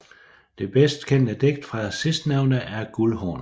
Det bedst kendte digt fra sidstnævnte er Guldhornene